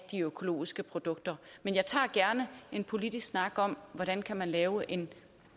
de økologiske produkter men jeg tager gerne en politisk snak om hvordan man kan lave en